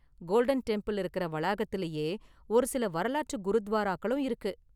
Golden Temple இருக்குற வளாகத்திலேயே ஒரு சில வரலாற்று குருத்வாராக்களும் இருக்கு.